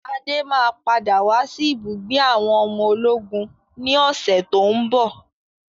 Adé máa padà wá sí ibùgbé àwọn ọmọ ológun ni ọ̀sẹ̀ tòun bọ̀.